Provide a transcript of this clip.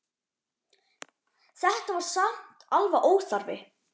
Þetta var samt alveg óþarfi